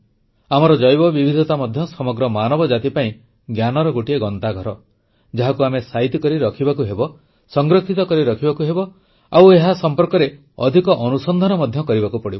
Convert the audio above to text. ଆମର ଜୈବବିବିଧତା ମଧ୍ୟ ସମଗ୍ର ମାନବ ଜାତି ପାଇଁ ଜ୍ଞାନର ଗୋଟିଏ ଗନ୍ତାଘର ଯାହାକୁ ଆମେ ସାଇତି କରି ରଖିବାକୁ ହେବ ସଂରକ୍ଷିତ କରି ରଖିବାକୁ ହେବ ଆଉ ଏହା ସମ୍ପର୍କରେ ଅଧିକ ଅନୁସନ୍ଧାନ ମଧ୍ୟ କରିବାକୁ ପଡ଼ିବ